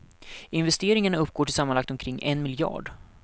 Investeringarna uppgår till sammanlagt omkring en miljard.